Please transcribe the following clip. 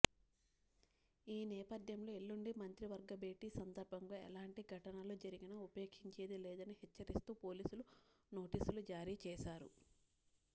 ఈనేపథ్యంలో ఎల్లుండి మంత్రివర్గ భేటీ సందర్భంగా ఎలాంటి ఘటనలు జరిగినా ఉపేక్షించేది లేదని హెచ్చరిస్తూ పోలీసులు నోటీసులు జారీ చేశారు